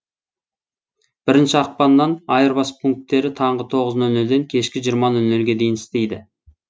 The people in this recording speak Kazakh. бірінші ақпаннан айырбас пунктері таңғы тоғыз нөл нөлден кешкі жиырма нөл нөлге дейін істейді